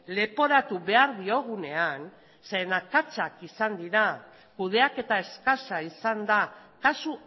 leporatu behar diogunean zeren akatsak izan dira kudeaketa eskasa izan da kasu